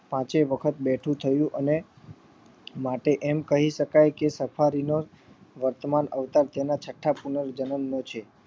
પાંચેય વખત બેઠું થયું અને માટે એમ કહી શકાય કે સફારી ગણ નો વર્તમાન અવતાર તેના છઠા જનમ નો છે